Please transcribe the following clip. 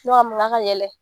ka yɛlɛ